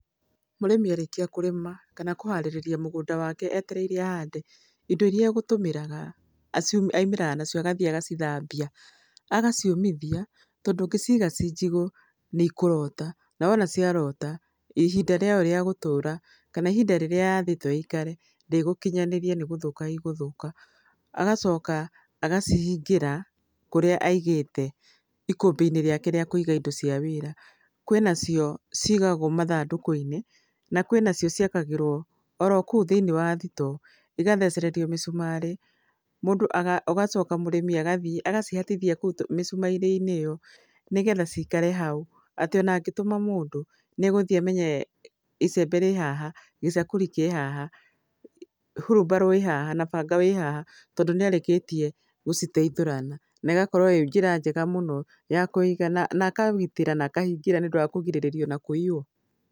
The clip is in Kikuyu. Mũrĩmi arĩkia kũrĩma, kana kũharĩrĩria mũgũnda wake etereire ahande, indo irĩa agũtũmĩraga aimĩraga nacio agathiĩ agacithambia. Agaciũmithia, tondũ ũngĩciga ci njigũ, nĩ ikũrota. Na wona ciarota, ihinda rĩa yo rĩa gũtũũra, kana ihinda irĩa yathĩtwo ĩikare, ndĩgũkinyanĩria nĩ gũthũka igũthũka. Agacoka, agacihingĩra kũrĩa aigĩte ikũmbĩ-inĩ rĩake rĩa kũiga indo cia wĩra. Kwĩ na cio cigagwo mathandũkũ-inĩ, na kwĩ na cio ciakagĩrwo oro kũu thĩiniĩ wa thitoo, igathecererio mĩcumarĩ, mũndũ ũgacoka mũrĩmi agathiĩ agacihatithia kũu mĩcumarĩ-inĩ ĩyo, nĩgetha cikare hau. Atĩ ona angĩtũma mũndũ, nĩ egũthiĩ amenye icembe rĩ haha, gĩcakũri kĩ haha, hurumbarũ ĩĩ haha, na banga wĩ haha. Tondũ nĩ arĩkĩtie gũciteithũrana. Na ĩgakorwo ĩĩ njĩra njega mũno, ya kũiga, na akagitĩra na akahingĩra nĩ ũndũ wa kũgirĩrĩria ona kũiywo.